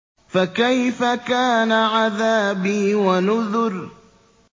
فَكَيْفَ كَانَ عَذَابِي وَنُذُرِ